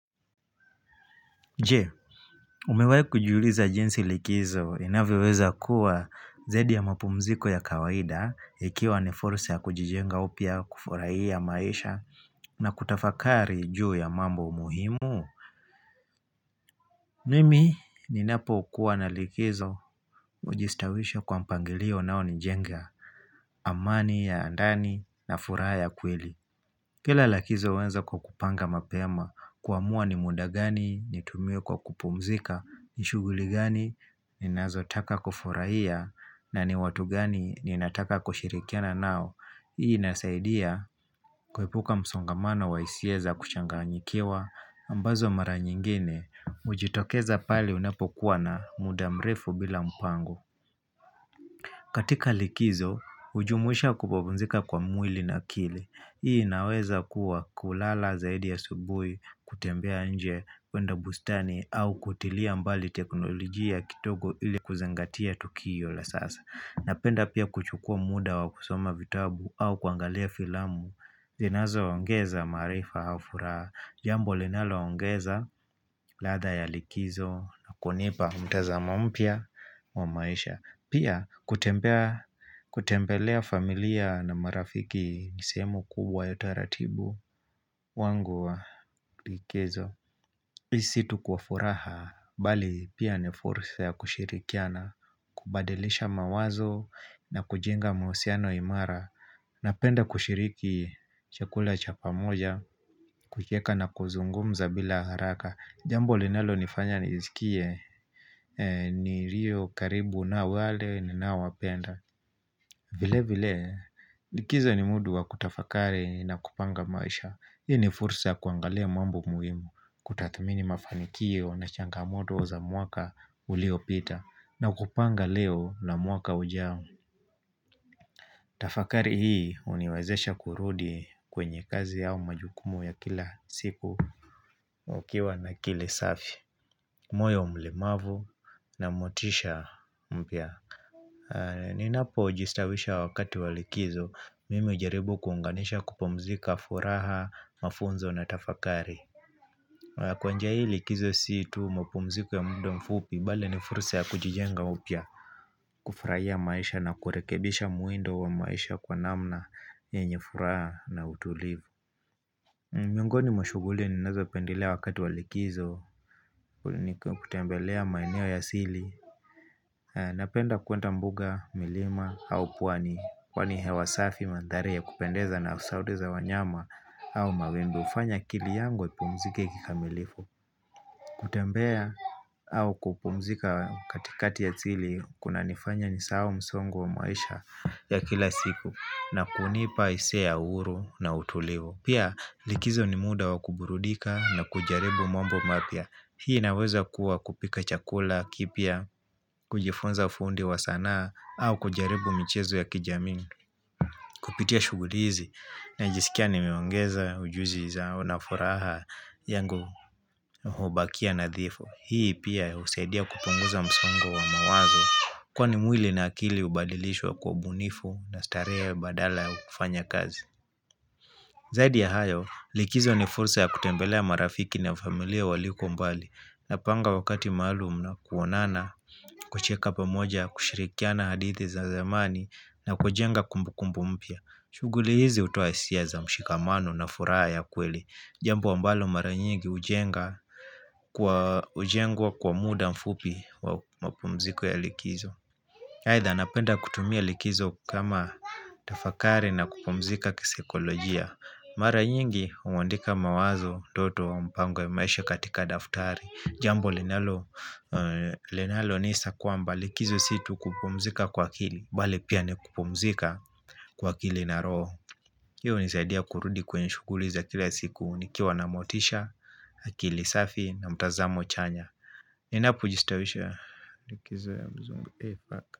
Je, umewahi kujiuliza jinsi likizo inavyoweza kuwa zaidi ya mapumziko ya kawaida ikiwa ni fursa ya kujijenga upia kufurahia maisha na kutafakari juu ya mambo muhimu Mimi ninapo kuwa na likizo ujistawisha kwa mpangilio unao nijenga amani ya ndani na furaha ya kweli Kila lakizo huanza kwa kupanga mapema kuamua ni muda gani, ni tumie kwa kupumzika, ni shuguli gani, ni nazotaka kufurahia, na ni watu gani, ni nataka kushirikiana nao hii inasaidia kuepuka msongamano wa hisia za kuchanganyikiwa ambazo mara nyingine, ujitokeza pale unapokuwa na muda mrefu bila mpango katika likizo, hujumuisha kupumzika kwa mwili na akili Hii inaweza kuwa kulala zaidi ya asubui kutembea nje kwenda bustani au kutilia mbali teknolojia kindogo ili kuzengatia tukio la sasa Napenda pia kuchukua muda wa kusoma vitabu au kuangalia filamu zinazo ongeza marifa au furaha jambo linalo ongeza latha ya likizo na kunipa mtazamo mpya wa maisha Pia kutembelea familia na marafiki nisemu kubwa ya taratibu wangu wa kikezo Hii si tu kwa furaha, bali pia ni fursa ya kushirikiana kubadilisha mawazo na kujenga mahusiano imara Napenda kushiriki chakula cha pa moja, kukieka na kuzungumza bila haraka Jambo linalo nifanya nizikie, nilio karibu na wale ninaowapenda vile vile likizi ni mudu wa kutafakari na kupanga maisha Hii ni fursa kuangalia mambo muhimu Kutathamini mafanikio na changamoto za mwaka uliopita na kupanga leo na mwaka ujao tafakari hii huniwazesha kurudi kwenye kazi yao majukumu ya kila siku Ukiwa na akili safi moyo mlimavu na motisha mpya Ninapo jistawisha wakati walikizo Mimi hujaribu kuunganisha kupumzika furaha, mafunzo na tafakari Kwa njia hii likizo si tu mapumziku ya muda mfupi Bale ni furusa ya kujijenga upya kufurahia maisha na kurekebisha muindo wa maisha kwa namna yenye furaha na utulivu Mwiongoni mshuguli ni nazo pendilea wakati walikizo ni kutembelea maineo ya sili Napenda kuwenda mbuga, milima, au pwani Kwani hewa safi mandhari ya kupendeza na sauti za wanyama au mawengu ufanya kili yangu ipumzike kikamilifu kutembea au kupumzika katikati ya tzili Kuna nifanya nisahau msongo wa maisha ya kila siku na kunipa hisia ya uhuru na utulivu Pia likizo ni muda wakuburudika na kujaribu mambo mapya Hii naweza kuwa kupika chakula, kipya, kujifunza fundi wa sanaa au kujaribu michezo ya kijamii Kupitia shuguli hizi na jisikia nimeongeza ujuzi zao nafuraha yangu hubakia na dhifu. Hii pia usaidia kupunguza msongo wa mawazo kwa ni mwili na akili ubadilishwa kwa ubunifu na starehe badala ya kufanya kazi. Zaidi ya hayo likizo ni fursa ya kutembelea marafiki na familia waliko mbali na panga wakati maalum na kuonana kucheka pamoja kushirikiana hadithi za zamani na kujenga kumbu kumbu mpya. Shuguli hizi utoa isiaza mshikamano na furaa ya kweli Jambo wa ambalo mara nyingi ujenga kwa ujengwa kwa muda mfupi wa mpumziko ya likizo Haitha napenda kutumia likizo kama tafakari na kupumzika kisekolojia Mara nyingi umwandika mawazo doto wa mpango ya maisha katika daftari Jambo linalo nisa kwamba likizo situ kupumzika kwa kili Bale pia nikupumzika kwa akili na roho hiyo nisaidia kurudi kwenye shuguli za kila siku Nikiwa na motisha, akili safi na mtazamo chanya Ninapo jistawisho.